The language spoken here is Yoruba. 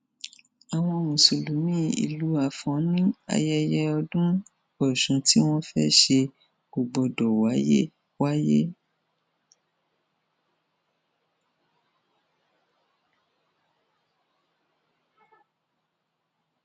àwọn mùsùlùmí ìlú afọn ní ayẹyẹ ọdún ọsún tí wọn fẹẹ ṣe kò gbọdọ wáyé wáyé